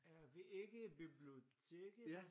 Er vi ikke i biblioteket?